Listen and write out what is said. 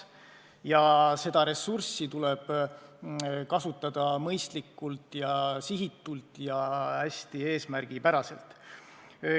Nii et seda ressurssi tuleb kasutada mõistlikult, sihitatult ja hästi eesmärgipäraselt.